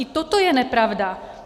I toto je nepravda.